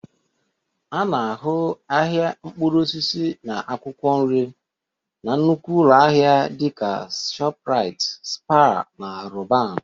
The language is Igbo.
A na-ahụ ahịa mkpụrụ osisi na akwụkwọ nri na nnukwu ụlọ ahịa dị ka Shoprite, Spar na Roban